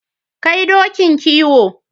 Kai dokin kiwo.